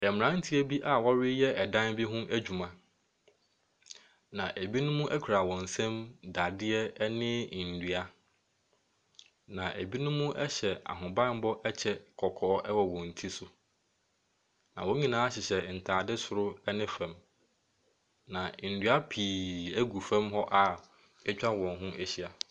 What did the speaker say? Mmeranteɛ bi a wɔreyɛ dan bi ho adwuma, na binom kura wɔn nsam dadeɛ ne nnua, na binom hyɛ ahobammɔ kyɛ kɔkɔɔ wɔ wɔn ti so, na wɔn nyinaa hyehyɛ ntade soro ne fam, na nnua ppi agu fam hɔ a atwa wɔn ho ahyia.